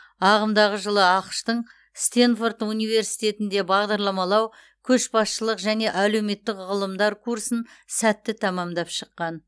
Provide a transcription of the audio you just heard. ағымдағы жылы ақш тың стенфорд университетінде бағдарламалау көшбасшылық және әлеуметтік ғылымдар курсын сәтті тәмамдап шыққан